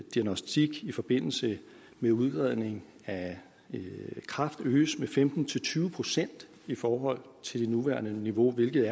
diagnostik i forbindelse med udredning af kræft øges med femten til tyve procent i forhold til det nuværende niveau hvilket